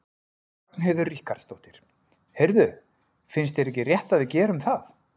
Ragnheiður Ríkharðsdóttir: Heyrðu, finnst þér ekki rétt að við gerum það?